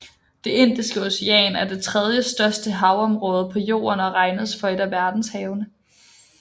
Det Indiske Ocean er det tredjestørste havområde på Jorden og regnes for et af verdenshavene